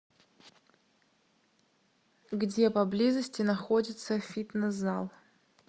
где поблизости находится фитнес зал